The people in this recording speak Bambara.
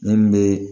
Min be